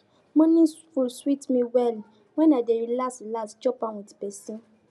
morning food sweet me well when i dey relax relax chop am with person